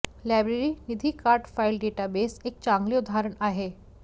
library निधी card file database एक चांगले उदाहरण आहे